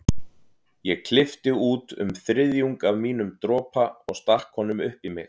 Ég klippti út um þriðjung af mínum dropa og stakk honum upp í mig.